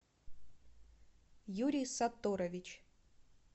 юрий сатторович